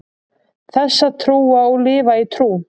þess að trúa og lifa í trú